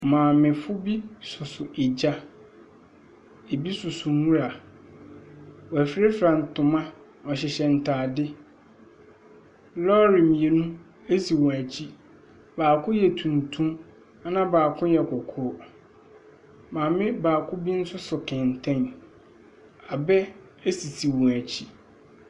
Maamefo bi soso gya, bi soso nwura, wɔafurafura ntoma, wɔhyehyɛ ntaade. Lɔɔre mmienu si wɔn akyi, baako yɛ tuntum na baako yɛ kɔkɔɔ. Maame baako bi nso so kɛntɛn, abɛ sisi wɔn akyi.